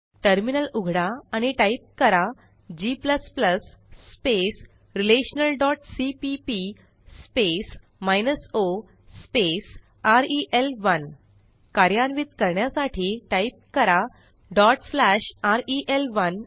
terminal उघडा आणि type करा g relationalसीपीपी o रेल1 कार्यान्वित करण्यासाठी टाईप करा रेल1